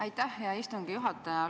Aitäh, hea istungi juhataja!